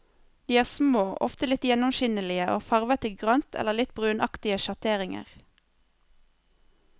De er små, ofte litt gjennomskinnelige, og farvet i grønt eller litt brunaktige sjatteringer.